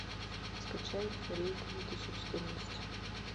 скачай рейк две тысячи четырнадцать